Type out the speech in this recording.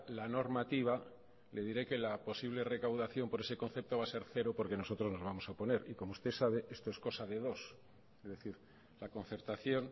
la normativa le diré que la posible recaudación por ese concepto va a ser cero porque nosotros nos vamos a oponer y como usted sabe esto es cosa de dos es decir la concertación